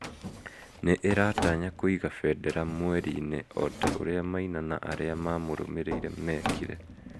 Nĩ ĩratanya kũiga bendera mweri-inĩ o ta ũrĩa Maina na arĩa maamũrũmĩrĩire meekire